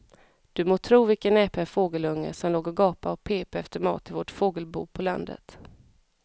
Du må tro vilken näpen fågelunge som låg och gapade och pep efter mat i vårt fågelbo på landet.